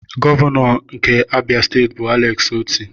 Gọvanọ nke Abịa steeti bụ Alex Otti.